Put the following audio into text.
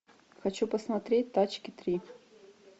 хочу посмотреть тачки три